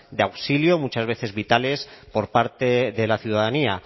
de auxilio muchas veces vitales por parte de la ciudadanía